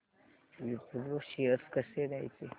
Wipro shares कसे घ्यायचे